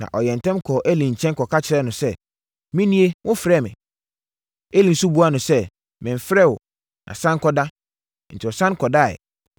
Na ɔyɛɛ ntɛm kɔɔ Eli nkyɛn kɔka kyerɛɛ no sɛ, “Menie! Wofrɛɛ me?” Eli nso buaa no sɛ, “Memfrɛɛ wo, na sane kɔda.” Enti ɔsane kɔdaeɛ.